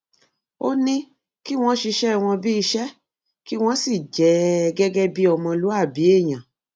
ó ní kí wọn ṣiṣẹ wọn bíi iṣẹ kí wọn sì jẹ ẹ gẹgẹ bíi ọmọlúàbí èèyàn